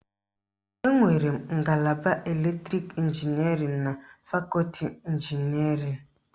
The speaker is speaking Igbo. Enwere ngalaba elektrọnik ịnginierịn na fakọti ịnginierịn